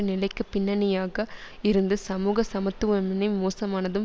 நிலைக்கு பின்னணியாக இருந்த சமூக சமத்துவமின்மை மோசமானதும்